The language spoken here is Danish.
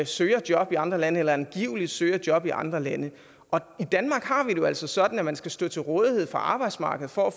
søger job i andre lande eller angiveligt søger job i andre lande i danmark har vi det altså sådan at man skal stå til rådighed for arbejdsmarkedet for at